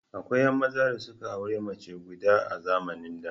Akwai 'yan maza da suka auri mace guda a zamanin da.